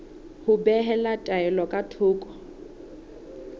ho behela taelo ka thoko